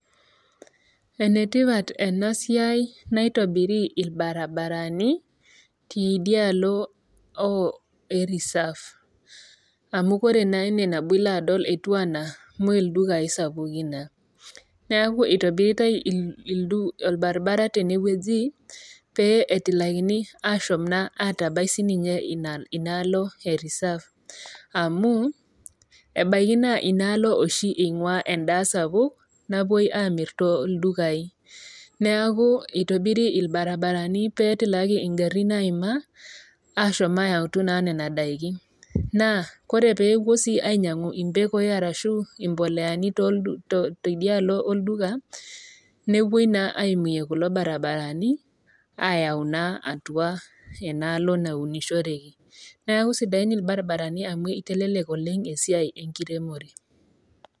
Ene tipat ena siai naitobiri ilbaribarani te idialo e reserve amu ore naa ine nabo ilo adol etu anaa me ildukain sapukin naa,. Neaku eitobiritai ilbaribarani tene wueji pee etilakini ashom atabai sii ninye inaalo e reserve amu ebaiki naa inaalo oshi einguaa endaa sapuk napuoi Aamir too ildukain. Neaku eitobiri ilbaribarani pee etilaki ingarin aima ashom naa ayau Nena daikin, naa ore sii pee epuoi ainyang'u impekoi ashu imboleani teidialo olduka, nepuoi naa eimie kulo barabarani ayau naa enaalo naunishoreki. Neaku sidain ilbaribarani amu eitelelek oleng' esiai enkiremore .